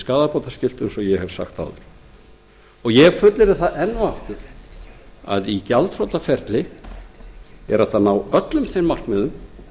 skaðabótaskylt eins og áður er rakið minni hlutinn fullyrðir að með gjaldþrotaskiptaferli sé hægt að ná öllum markmiðum